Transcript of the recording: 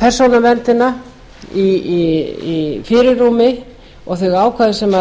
persónuverndina í fyrirrúmi og þau ákvæði sem